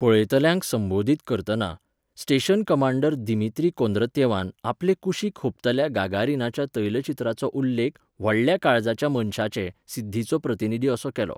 पळयतल्यांक संबोधीत करतना, स्टेशन कमांडर दिमित्री कोंद्रत्येवान आपले कुशीक हुबतल्या गागारिनाच्या तैलचित्राचो उल्लेख 'व्हडल्या काळजाच्या मनशाचे' सिद्धीचो प्रतिनिधी असो केलो.